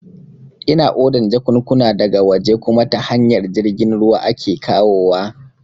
Ina odan jakunkuna da ga waje kuma ta hanyar jirgin ruwa ake kawowa